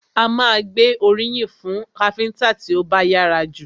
A má a gbé oríyìn fún káfíńńtà tí ó bá yára jù.